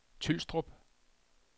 Tylstrup